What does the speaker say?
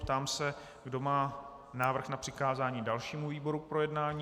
Ptám se, kdo má návrh na přikázání dalšímu výboru k projednání.